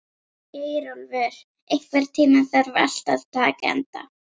Geirólfur, einhvern tímann þarf allt að taka enda.